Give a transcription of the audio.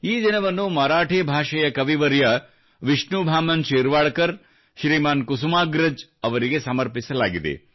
ಈ ದಿನವನ್ನು ಮರಾಠಿ ಭಾಷೆಯ ಕವಿವರ್ಯ ವಿಷ್ಣು ಬಾಮನ್ ಶಿರ್ವಾಡ್ಕರ್ ಶ್ರೀಮಾನ್ ಕುಸುಮಾಗ್ರಜ್ ಅವರಿಗೆ ಸಮರ್ಪಿಸಲಾಗಿದೆ